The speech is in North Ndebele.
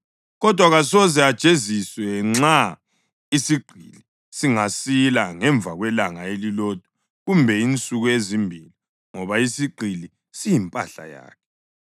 kodwa kasoze ajeziswe nxa isigqili singasila ngemva kwelanga elilodwa kumbe insuku ezimbili, ngoba isigqili siyimpahla yakhe.